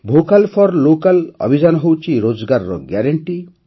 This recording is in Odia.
ଭୋକାଲ୍ ଫର୍ ଲୋକାଲ୍ ଅଭିଯାନ ହେଉଛି ରୋଜଗାରର ଗ୍ୟାରେଂଟି